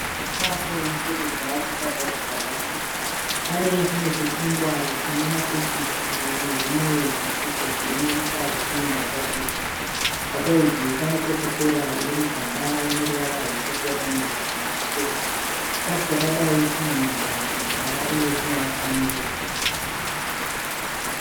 Chikafu chekudya chakagadzikwa pasi. Pane chimwe chechingwa chine masochisi nezvimwe zvisupu zvirimo mukati nembatatisi. Pasaidhi pane kokokora iri mugaba ine ruvara rutsvuku yakanyorwa nezvichena. Chikafu chakadai chinonaka kudya uye chinovaka muviri.